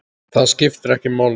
Það skiptir ekki máli.